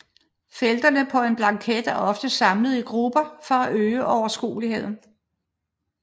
Felterne på en blanket er ofte samlet i grupper for at øge overskueligheden